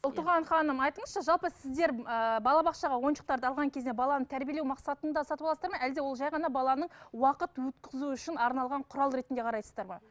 ұлтуған ханым айтыңызшы жалпы сіздер ыыы балабақшаға ойыншықтарды алған кезде баланы тәрбиелеу мақсатында сатып аласыздар ма әлде ол жай ғана баланың уақыт өткізу үшін арналған құрал ретінде қарайсыздар ма